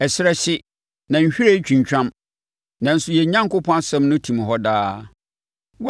Ɛserɛ hye, na nhwiren twintwam, nanso yɛn Onyankopɔn asɛm no tim hɔ daa.”